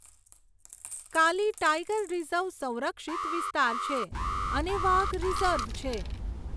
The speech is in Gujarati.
કાલી ટાઈગર રિઝર્વ સંરક્ષિત વિસ્તાર છે અને વાઘ રિઝર્વ છે.